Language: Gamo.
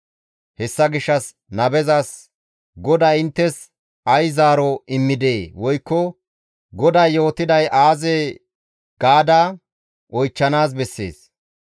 Hessa gishshas nabezas, ‹GODAY inttes ay zaaro immidee?› woykko, ‹GODAY yootiday aazee?› gaada oychchanaas bessees.